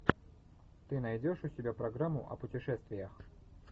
ты найдешь у себя программу о путешествиях